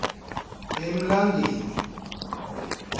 emlangeni